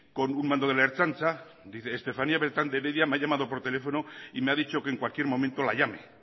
con un mando de la ertzaintza dice estefanía beltrán de heredia me ha llamado por teléfono y me ha dicho que en cualquier momento la llame